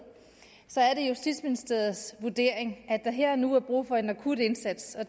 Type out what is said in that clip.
er justitsministeriets vurdering at der her og nu er brug for en akut indsats og